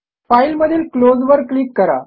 file मधील close वर click करा